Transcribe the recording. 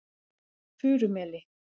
Furumeli